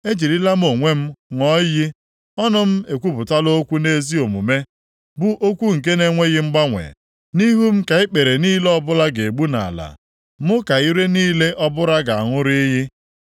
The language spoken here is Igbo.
Ejirila m onwe m ṅụọ iyi, ọnụ m ekwupụla okwu nʼezi omume, bụ okwu nke na-enweghị mgbanwe: Nʼihu m ka ikpere niile ọbụla ga-egbu nʼala; mụ ka ire niile ọbụla ga-aṅụrụ iyi.